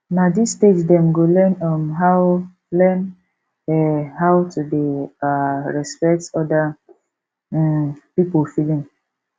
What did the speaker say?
na dis stage dem go learn um how learn um how to dey um respect oda um pipo feeling